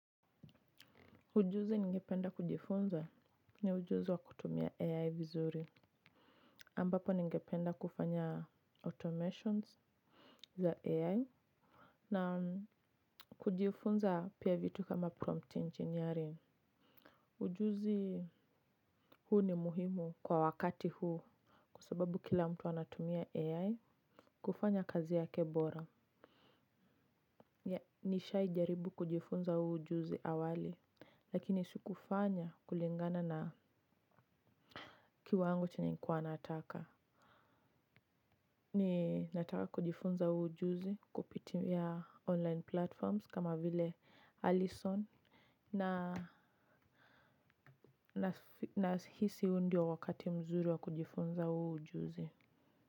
Ujuzi ningependa kujifunza ni ujuzi wa kutumia ai vizuri ambapo ningependa kufanya automations za AI. Na kujifunza vitu kama prompt engineering. Ujuzi huu ni muhimu kwa wakati huu. Kwa sababu kila mtu anatumia AI kufanya kazi yake bora. Nishai jaribu kujifunza huu ujuzi awali lakini sikufanya kulingana na kiwango chenye nilikuwa nataka. Ninataka kujifunza huu ujuzi kupitia online platforms kama vile Allison na nahisi huu ndio wakati mzuri wa kujifunza huo ujuzi.